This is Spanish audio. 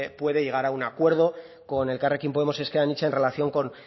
puede llegar a un acuerdo con elkarrekin podemos ezker anitza en relación con